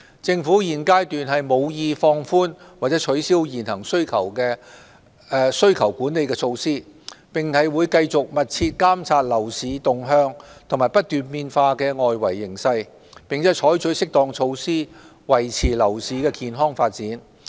政府現階段無意放寬或取消現行需求管理措施，並會繼續密切監察樓市動向和不斷變化的外圍形勢，並採取適當措施，維持樓市健康發展。